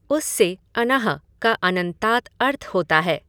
उससे अञः का अञन्तात् अर्थ होता है।